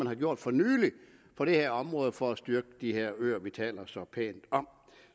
er gjort for nylig på det her område for at styrke de her øer vi taler